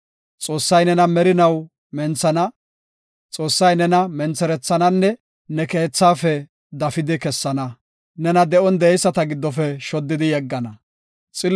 Xoossay nena merinaw menthana; Xoossay nena mentherethananne ne keethaafe dafidi kessana; nena de7on de7eyisata giddofe shoddidi yeggana. Salaha